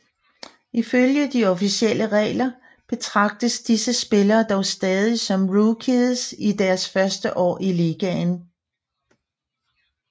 Ifølge de officielle regler betragtes disse spillere dog stadig som rookies i deres første år i ligaen